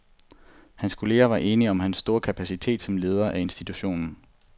Hans kolleger var enige om hans store kapacitet som leder af instituttet.